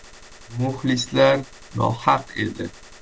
Muxlislar nohaq edi.